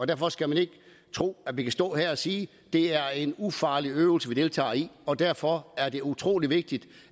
derfor skal man ikke tro at vi kan står her og sige at det er en ufarlig øvelse vi deltager i og derfor er det utrolig vigtigt